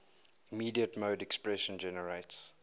immediate mode expression generates